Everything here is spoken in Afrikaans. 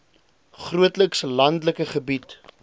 grootliks landelike gebied